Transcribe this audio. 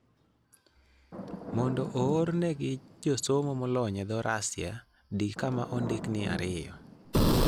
Mondo oornegi josomo molony e dho Russia, di kama ondik ni 2.